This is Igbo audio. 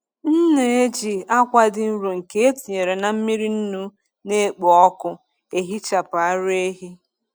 M na-eji akwa dị nro nke etinyere na mmiri nnu na-ekpo ọkụ ehichapụ ara ehi.